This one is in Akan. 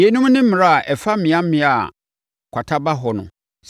Yeinom ne mmara a ɛfa mmeammea a kwata ba hɔ ho.